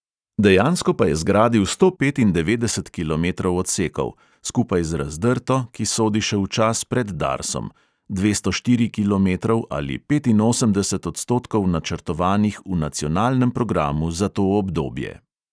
Dejansko pa je zgradil sto petindevetdeset kilometrov odsekov; skupaj z razdrto, ki sodi še v čas pred darsom, dvesto štirih kilometrov ali petinosemdeset odstotkov načrtovanih v nacionalnem programu za to obdobje.